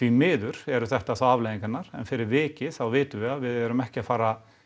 miður eru þetta þá afleiðingarnar en fyrir vikið þá vitum við að við erum ekki að fara